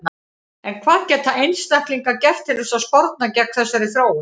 En hvað geta einstaklingar gert til að sporna gegn þessari þróun?